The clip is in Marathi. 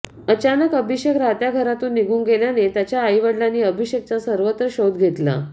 अचानक अभिषेक राहत्या घरातून निघून गेल्याने त्याच्या आईवडिलांनी अभिषेकचा सर्वत्र शोध घेतला